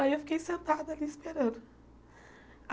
Aí eu fiquei sentada ali esperando.